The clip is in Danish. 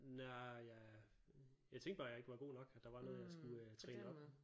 Nej jeg jeg tænkte bare at jeg ikke var godt nok at der var noget jeg skulle øh træne op